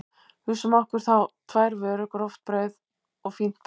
Hugsum okkur þá tvær vörur, gróft brauð og fínt brauð.